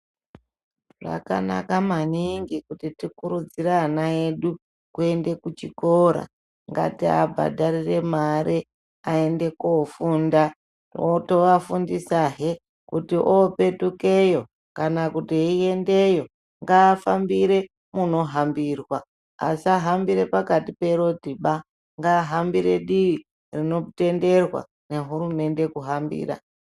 Zvakanaka maningi kuti tikurudzire ana edu kuende kuchikora. Ngatiabhadharire mare, aende kofunda. Toafundisahe kuti opetukeyo, kana kuti eyiendeyo, ngaafambire munohambirwa. Asahambire pakati perodhiba, ngaahambe dii rinotenderwa nehurumende kuhambira.